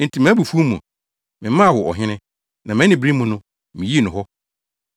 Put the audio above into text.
Enti mʼabufuw mu, memaa wo ɔhene, na mʼanibere mu no, miyii no hɔ.